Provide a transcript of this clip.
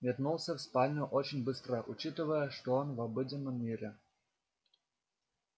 метнулся в спальню очень быстро учитывая что он в обыденном мире